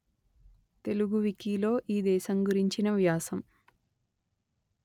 తెలుగు వికీలో ఈ దేశం గురించిన వ్యాసం